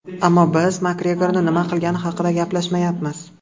Ammo biz Makgregorning nima qilgani haqida gaplashmayapmiz.